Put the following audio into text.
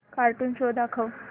cartoon show दाखव